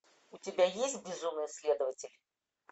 у тебя есть безумный следователь